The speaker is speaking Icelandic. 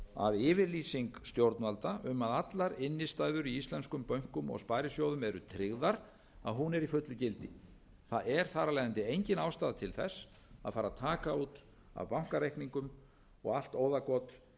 a yfirlýsing stjórnvalda um að allar innstæður í íslenskum bönkum og sparisjóðum eru tryggðar að hún er í fullu gildi það er þar af leiðandi engin ástæða til þess að fara að taka út af bankareikningum og allt óðagot eða